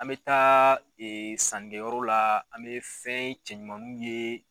An bɛ taa sannikɛ yɔrɔ la an bɛ fɛn cɛ ɲumanunw ye.